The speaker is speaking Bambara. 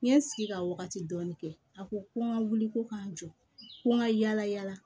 N ye n sigi ka wagati dɔɔni kɛ a ko ko n ka wuli ko ka n jɔ ko n ka yala yala